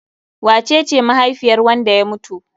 Wace ce mahaifiyar wanda ya mutu?